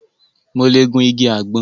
Mo lẹ̀ gun igi àgbọn